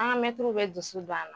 An ka mɛtiriw bɛ dusu don a la.